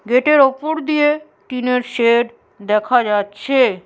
গেটের উপর দিয়ে টিনের শেড দেখা যাচ্ছে।